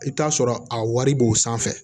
I bɛ t'a sɔrɔ a wari b'o sanfɛ